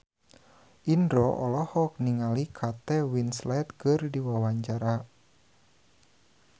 Indro olohok ningali Kate Winslet keur diwawancara